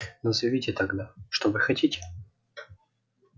назовите тогда что вы хотите